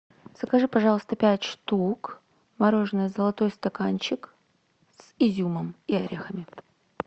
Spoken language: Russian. закажи пожалуйста пять штук мороженое золотой стаканчик с изюмом и орехами